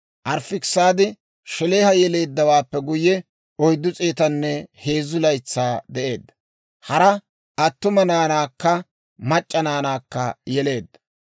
Arifaakisaadi Shelaaha yeleeddawaappe guyye, 403 laytsaa de'eedda; hara attuma naanaakka mac'c'a naanaakka yeleedda.